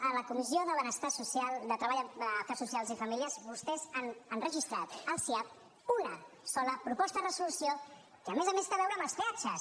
a la comissió de treball afers socials i famílies vostès han registrat al siap una sola proposta de resolució que a més a més té a veure amb els peatges